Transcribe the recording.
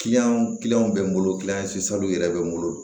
bɛ n bolo yɛrɛ bɛ n bolo